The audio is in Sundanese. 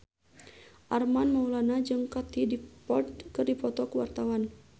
Armand Maulana jeung Katie Dippold keur dipoto ku wartawan